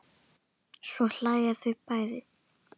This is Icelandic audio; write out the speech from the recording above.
Svo hlæja þau bæði.